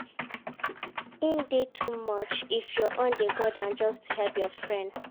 E de too much if your own de go down just to help your friend